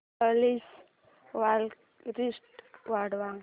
please clarity वाढव